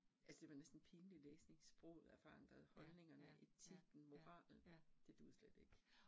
Altså det var næsten pinlig læsning, sproget er forandret, holdningerne, etikken, moralen, det duede slet ikke